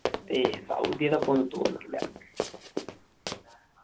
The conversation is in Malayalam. എയ്യ് സൗദിടെയൊപ്പം ഒന്നും തോൽക്കില്ല